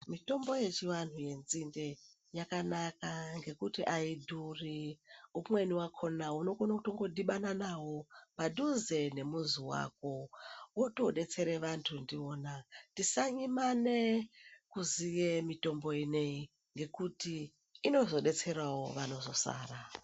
Mitombo yechiantu nzinde yakanaka ngekuti haidhuri. Umweni vakona unokone kungodhibana navo padhuze nemuzi vako votobetsere vantu ndivona. Tisanyimane kuzviye mitombo inoiyi nekuti inozobetseravo vanozosara.